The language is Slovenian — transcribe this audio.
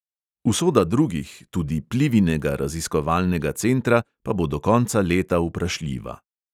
Usoda drugih, tudi plivinega raziskovalnega centra, pa bo do konca leta vprašljiva.